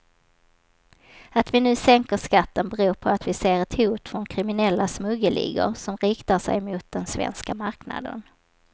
Att vi nu sänker skatten beror på att vi ser ett hot från kriminella smuggelligor som riktar sig mot den svenska marknaden.